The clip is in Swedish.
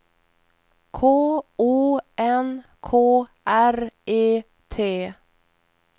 K O N K R E T